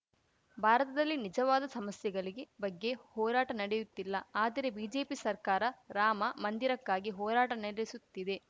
ಭಾರತದಲ್ಲಿ ನಿಜವಾದ ಸಮಸ್ಯೆಗಳಿಗೆ ಬಗ್ಗೆ ಹೋರಾಟ ನಡೆಯುತ್ತಿಲ್ಲ ಆದರೆ ಬಿಜೆಪಿ ಸರ್ಕಾರ ರಾಮ ಮಂದಿರಕ್ಕಾಗಿ ಹೋರಾಟ ನಡೆಸುತ್ತಿದೆ